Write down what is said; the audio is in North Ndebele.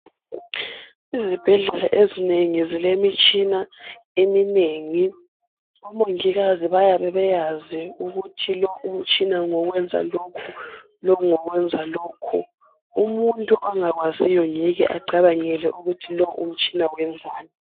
Izibhedlela ezinengi zilemitshina eminengi omongikazi bayabe beyazi ukuthi lo umtshina ngowo kwenza lokhu lo umtshina ngowo kwenza lokhu umuntu ongakwaziyo ngeke ecabangele ukuthi lo umtshina wenzani.